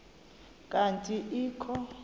kanti ee kho